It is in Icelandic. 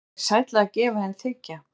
Er sælla að gefa en þiggja?